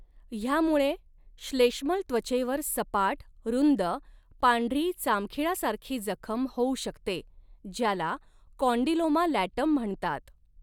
ह्यामुळे श्लेष्मल त्वचेवर सपाट, रुंद, पांढरी, चामखीळा सारखी जखम होऊ शकते, ज्याला 'कॉन्डिलोमा लॅटम' म्हणतात.